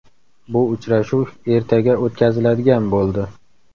Bu uchrashuv ertaga o‘tkaziladigan bo‘ldi.